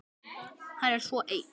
Hann er svo ein